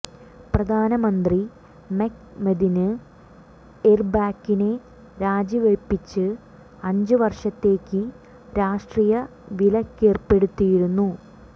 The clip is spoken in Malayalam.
പ്രധാന മന്ത്രി മെക്മെതിന് എര്ബാക്കിനെ രാജിവയ്പ്പിച്ച് അഞ്ച് വര്ഷത്തേക്ക് രാഷ്ട്രീയ വിലക്കേര്പ്പെടുത്തിയിരുന്നു